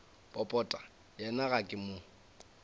popota yena ga ke mo